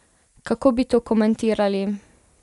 Kako bi to komentirali?